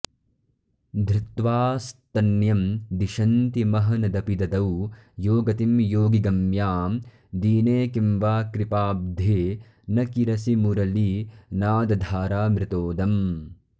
धृत्वा स्तन्यं दिशन्तीमहनदपि ददौ यो गतिं योगिगम्यां दीने किं वा कृपाब्धे न किरसि मुरलीनादधारामृतोदम्